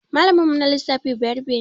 Malamin mu na lissafi bayarabe ne